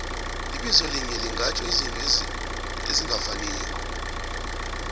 ibizo linye lingatjho izinto ezingafaniko